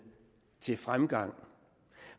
til fremgang